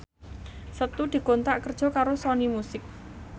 Setu dikontrak kerja karo Sony Music